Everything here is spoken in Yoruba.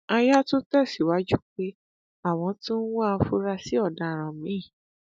aya tún tẹsíwájú pé àwọn tún ń wá àfurasí ọdaràn míín